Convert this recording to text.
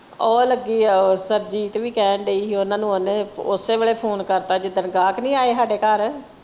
ਉਹ ਲੱਗੀ ਆ ਉਹ ਸਰਬਜੀਤ ਵੀ ਕਹਿਣ ਦੀ ਹੀ ਓਹਨਾ ਨੂੰ ਓਹਨੇ ਓਸੇ ਵੇਲੇ phone ਕਰਤਾ ਜਿੱਦਣ ਗਾਹਕ ਨਹੀਂ ਆਏ ਹਾਡੇ ਘਰ।